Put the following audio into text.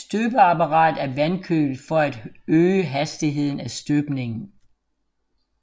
Støbeapparatet er vandkølet for at øge hastigheden af støbningen